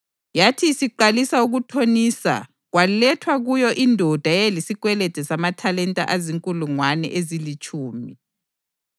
Yathi isiqalisa ukuthonisa kwalethwa kuyo indoda eyayilesikwelede samathalenta azinkulungwane ezilitshumi.